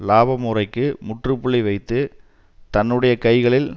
இலாப முறைக்கு முற்றுப்புள்ளி வைத்து தன்னுடைய கைகளில்